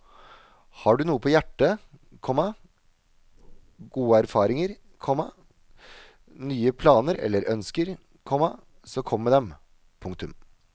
Har du noe på hjertet, komma gode erfaringer, komma nye planer eller ønsker, komma så kom med dem. punktum